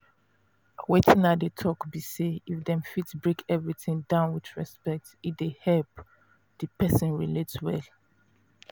wetin i dey talk be say if dem fit break everything down with respect e dey help the person relate well.